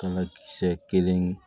Kala kisɛ kelen